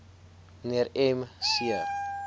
mnr m c